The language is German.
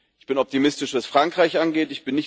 Ich bin optimistisch, was Frankreich angeht.